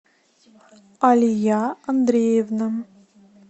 алия андреевна